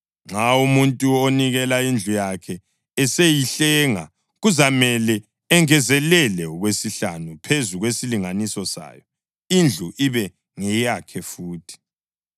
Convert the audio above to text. Nxa umuntu onikele indlu yakhe eseyihlenga, kuzamele engezelele okwesihlanu phezu kwesilinganiso sayo, indlu ibe ngeyakhe futhi.